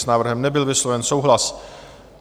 S návrhem nebyl vysloven souhlas.